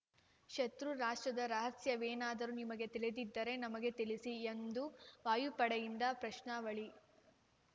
ಶತ್ರು ರಾಷ್ಟ್ರದ ರಹಸ್ಯವೇನಾದರೂ ನಿಮಗೆ ತಿಳಿದಿದ್ದರೆ ನಮಗೆ ತಿಳಿಸಿ ಎಂದು ವಾಯುಪಡೆಯಿಂದ ಪ್ರಶ್ನಾವಳಿ